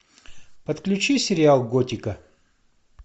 подключи сериал готика